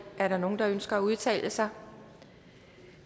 er der nogen der ønsker at udtale sig